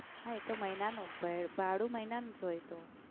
હા એ તો મહિનાનું ભય ભાડું મહિનાનું જ હોય એ તો.